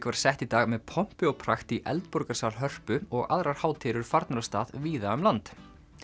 var sett í dag með pompi og prakt í Hörpu og aðrar hátíðir eru farnar af stað víða um land